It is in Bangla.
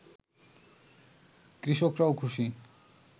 কৃষকরাও খুশি